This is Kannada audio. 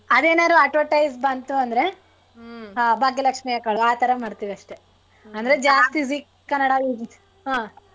ಅದ್ ಏನಾದ್ರು advertise ಬಂತು ಅಂದ್ರೆ ಭಾಗ್ಯ ಲಕ್ಷೀ ಹಾಕ್ಕೊಳೋದು ಆತರ ಮಾಡ್ತೀವಿ ಅಷ್ಟೇ ಅಂದ್ರೆ zee ಕನ್ನಡ ಹಾ.